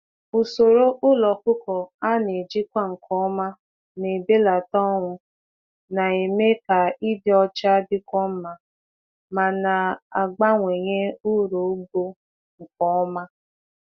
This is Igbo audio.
Ụzọ zụ anụ ọkụkọ a na-elekọta nke ọma na-ebelata ọnwụ, na-eme ka ebe dị ọcha, na na-akwalite uru ugbo nwayọ nwayọ.